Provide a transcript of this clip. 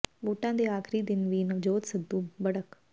ਵੋਟਾਂ ਦੇ ਆਖਰੀ ਦਿਨ ਵੀ ਨਵਜੋਤ ਸਿੱਧੂ ਦੀ ਬੜਕ